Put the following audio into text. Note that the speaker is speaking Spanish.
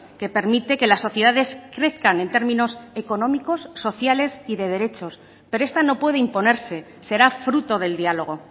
que permite que las sociedades crezcan en términos económicos sociales y de derechos pero esta no puede imponerse será fruto del diálogo